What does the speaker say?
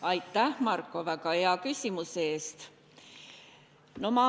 Aitäh, Marko, väga hea küsimuse eest!